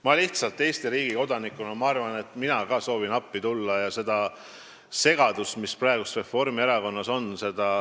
Ma lihtsalt Eesti riigi kodanikuna soovin ka appi tulla ja leevendada seda segadust, seda pingekollet, mis praegu Reformierakonnas on.